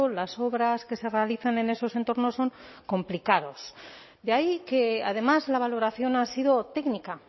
las obras que se realizan en esos entornos son complicados de ahí que además la valoración ha sido técnica